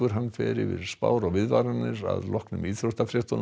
fer yfir spár og viðvaranir að loknum íþróttafréttum